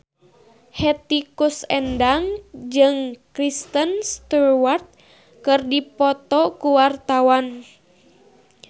Hetty Koes Endang jeung Kristen Stewart keur dipoto ku wartawan